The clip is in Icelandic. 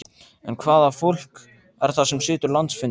En hvaða fólk er það sem situr landsfund?